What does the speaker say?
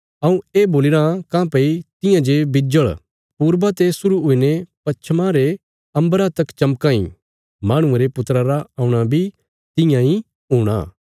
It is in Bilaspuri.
हऊँ ये बोलीराँ काँह्भई तियां जे बिज्जल़ पूरबा ते शुरु हुईने पच्छमा रे अम्बरा तक चमकां इ माहणुये रे पुत्रा रा औणा बी तियां इ हूणा